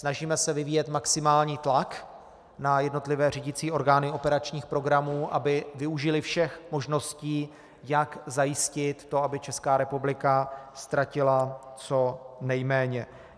Snažíme se vyvíjet maximální tlak na jednotlivé řídicí orgány operačních programů, aby využily všech možností, jak zajistit to, aby Česká republika ztratila co nejméně.